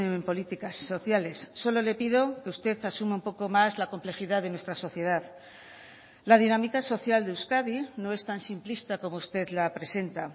en políticas sociales solo le pido que usted asuma un poco más la complejidad de nuestra sociedad la dinámica social de euskadi no es tan simplista como usted la presenta